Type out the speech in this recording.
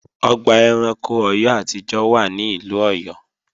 Ìlú Ọ̀yọ́ ni Old Ọ̀yọ́ ọgbà ẹranko orílè-èdè wà